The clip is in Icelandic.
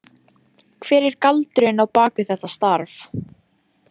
Hver er galdurinn á bak við þetta starf?